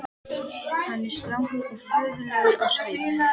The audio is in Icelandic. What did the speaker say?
Hann er strangur og föður legur á svip.